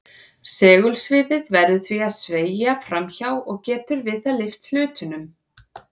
Segulsviðið verður því að sveigja fram hjá og getur við það lyft hlutnum.